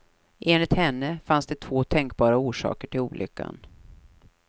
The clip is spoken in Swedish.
Enligt henne finns det två tänkbara orsaker till olyckan.